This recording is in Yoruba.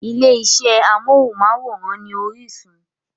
Ilé iṣẹ́ amóhùnmáwòrán ni Orísun.